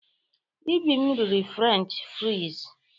Ibim riri Frenchị friz.